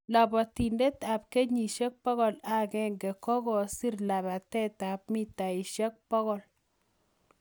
Labatindet ap kenyishek pokol ak agenge kokasiir labateet ap mitaishek pokol